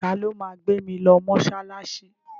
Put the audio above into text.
Ta ló ma gbé mi lọ mọ́ṣáláṣí?